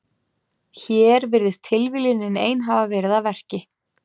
Hér virðist tilviljunin ein hafa verið að verki.